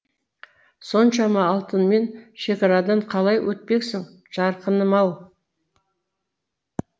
соншама алтынмен шекарадан қалай өтпексің жарқыным ау